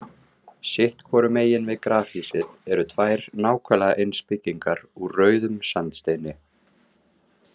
Sitt hvoru megin við grafhýsið eru tvær nákvæmlega eins byggingar úr rauðum sandsteini.